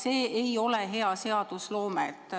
See ei ole hea seadusloome.